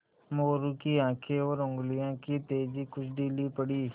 मोरू की आँखें और उंगलियों की तेज़ी कुछ ढीली पड़ी